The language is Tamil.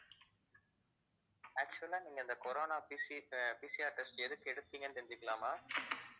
actual ஆ நீங்க இந்த corona PC ஆஹ் PCR test எதுக்கு எடுத்தீங்கன்னு தெரிஞ்சுக்கலாமா